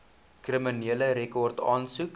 kriminele rekord aansoek